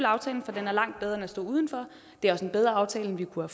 aftalen for den er langt bedre end at stå udenfor det er også en bedre aftale end vi kunne